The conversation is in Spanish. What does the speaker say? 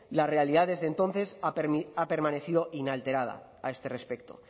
la realidad desde entonces ha permanecido inalterada a este respecto